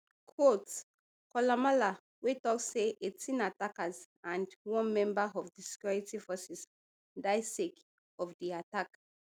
quote koulamallah wey tok say eighteen attackers and one member of di security forces die sake of di attack